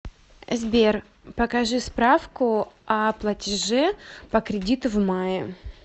сбер покажи справку о платеже по кредиту в мае